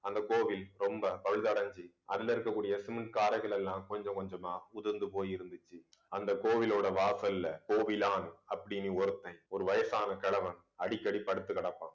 அந்த கோவில் ரொம்ப பழுதடைஞ்சு அதுல இருக்கக்கூடிய cement காரைகள் எல்லாம் கொஞ்சம் கொஞ்சமா உதிர்ந்து போயிருந்துச்சு அந்த கோவிலோட வாசல்ல கோவிலான் அப்படின்னு ஒருத்தன் ஒரு வயசான கிழவன் அடிக்கடி படுத்துக்கிடப்பான்